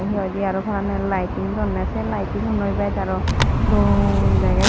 hi hoidey araw parangey liting donney sey liting unnoi bes araw dol degey.